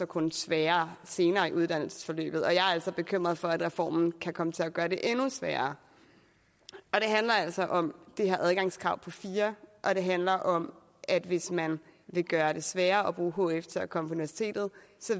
kun sværere senere i uddannelsesforløbet og jeg er altså bekymret for at reformen kan komme til at gøre det endnu sværere det handler altså om det her adgangskrav på fire og det handler om at hvis man vil gøre det sværere at bruge hf til at komme på universitetet